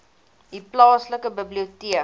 u plaaslike biblioteek